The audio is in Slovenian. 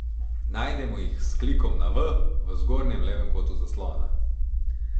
Najdemo jih s klikom na V v zgornjem levem kotu zaslona.